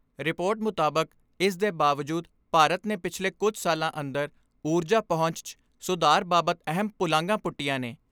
Report ਮੁਤਾਬਕ ਇਸ ਦੇ ਬਾਵਜੂਦ ਭਾਰਤ ਨੇ ਪਿਛਲੇ ਕੁਝ ਸਾਲਾਂ ਅੰਦਰ ਊਰਜਾ ਪਹੁੰਚ 'ਚ ਸੁਧਾਰ ਬਾਬਤ ਅਹਿਮ ਪੁਲਾਂਘਾਂ ਪੁਟੀਆਂ ਨੇ।